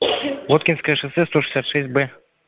воткинское шоссе сто шестьдесят б